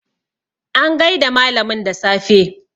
an gaida malamin da safe